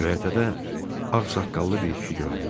Göyərtədə ağsaqqallı bir kişi göründü.